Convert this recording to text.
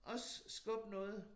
Også skubbe noget